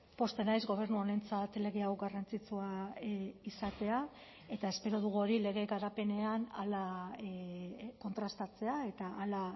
pozten naiz gobernu honentzat lege hau garrantzitsua izatea eta espero dugu hori lege garapenean hala kontrastatzea eta hala